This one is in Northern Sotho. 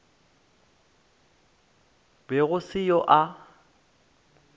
be go se yo a